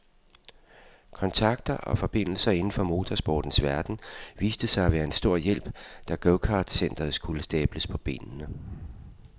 Kontakter og forbindelser inden for motorsportens verden viste sig at være en stor hjælp, da gokartcenteret skulle stables på benene.